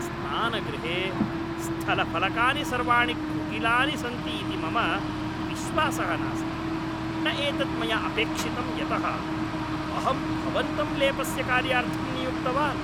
स्नानगृहे स्थलफलकानि सर्वाणि कुटिलानि सन्ति इति मम विश्वासः नास्ति! न एतत् मया अपेक्षितं यतः अहं भवन्तं लेपस्य कार्यार्थं नियुक्तवान्।